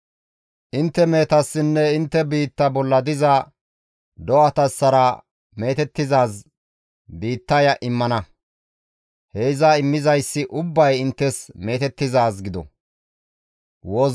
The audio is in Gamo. Intte mehetassinne intte biitta bolla diza do7atassara meetettizaaz biittaya immana; he iza immizayssi ubbay isttas meetettizaaz gido.